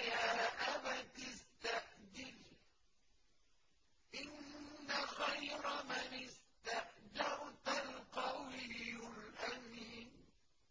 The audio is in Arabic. يَا أَبَتِ اسْتَأْجِرْهُ ۖ إِنَّ خَيْرَ مَنِ اسْتَأْجَرْتَ الْقَوِيُّ الْأَمِينُ